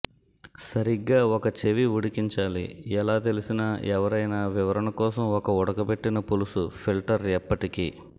సరిగ్గా ఒక చెవి ఉడికించాలి ఎలా తెలిసిన ఎవరైనా వివరణ కోసం ఒక ఉడకబెట్టిన పులుసు ఫిల్టర్ ఎప్పటికీ